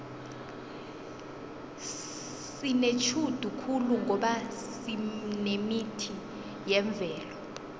sinetjhudu khulu ngoba sinemithi yemvelo